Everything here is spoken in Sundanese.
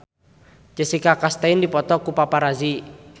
Jessica Chastain dipoto ku paparazi